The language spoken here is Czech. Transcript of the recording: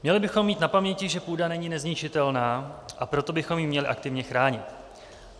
Měli bychom mít na paměti, že půda není nezničitelná, a proto bychom ji měli aktivně chránit.